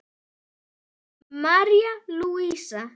Þín Helga Björk.